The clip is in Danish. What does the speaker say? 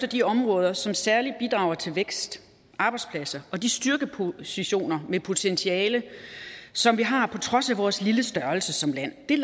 de områder som særlig bidrager til vækst og arbejdspladser og de styrkepositioner med potentiale som vi har på trods af vores lille størrelse som land det er